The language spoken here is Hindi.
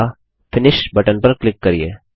अगला फिनिश बटन पर क्लिक करिये